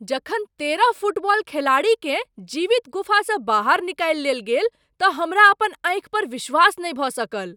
जखन तेरह फुटबॉल खिलाड़ीकेँ जीवित गुफासँ बाहर निकालि लेल गेल तऽ हमरा अपन आँखि पर विश्वास नहि भऽ सकल।